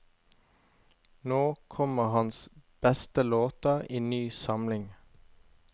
Nå kommer hans beste låter i ny samling.